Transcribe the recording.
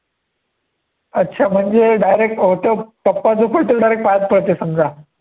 अच्छा म्हणजे direct होतो टप्पा जो पडतो direct पायात पडतो समजा.